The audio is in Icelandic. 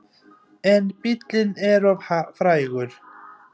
En bíllinn er of frægur.